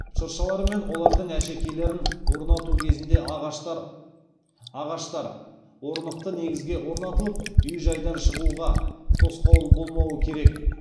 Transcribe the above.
шыршалар мен олардың әшекейлерін орнату кезінде ағаштар орнықты негізге орнатылып үй жайдан шығуға тосқауыл болмауы керек